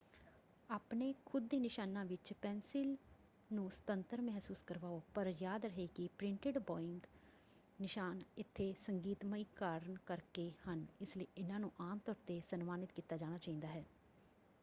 ਆਪਣੇ ਖੁਦ ਦੇ ਨਿਸ਼ਾਨਾਂ ਵਿੱਚ ਪੈੱਨਸਿਲ ਨੂੰ ਸੁਤੰਤਰ ਮਹਿਸੂਸ ਕਰਵਾਓ ਪਰ ਯਾਦ ਰਹੇ ਕਿ ਪ੍ਰਿੰਟਡ ਬੋਇੰਗ ਨਿਸ਼ਾਨ ਇੱਥੇ ਸੰਗੀਤਮਈ ਕਾਰਨ ਕਰਕੇ ਹਨ ਇਸ ਲਈ ਇਹਨਾਂ ਨੂੰ ਆਮ ਤੌਰ 'ਤੇ ਸਨਮਾਨਿਤ ਕੀਤਾ ਜਾਣਾ ਚਾਹੀਦਾ ਹੈ।